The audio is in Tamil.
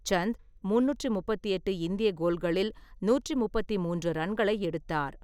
சந்த் முந்நூற்று முப்பத்தெட்டு இந்திய கோல்களில் நூற்று முப்பத்து மூன்று ரன்களை எடுத்தார்.